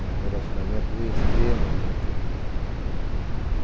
Um relacionamento extremamente amigável.